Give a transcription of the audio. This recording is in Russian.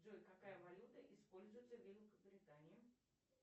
джой какая валюта используется в великобритании